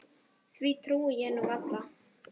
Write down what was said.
Því trúi ég nú varla.